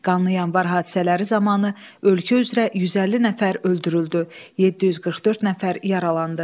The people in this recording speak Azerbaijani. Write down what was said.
Qanlı yanvar hadisələri zamanı ölkə üzrə 150 nəfər öldürüldü, 744 nəfər yaralandı.